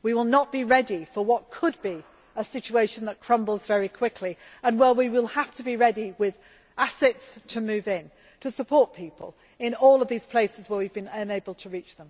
we will not be ready for what could be a situation which crumbles very quickly and where we will have to be ready with assets to move in, to support people in all the places we have been unable to